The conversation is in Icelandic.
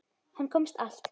Hann komst allt.